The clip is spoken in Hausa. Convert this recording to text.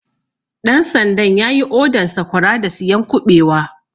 Ɗan sandan yayi odan Sakwara da siyan kuɓewa